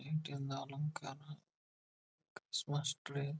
ಜಿಂಕೆಯನ್ನಾ ಅಲಂಕಾರ ಸ್ವಸ್ ಟ್ರೈನ್.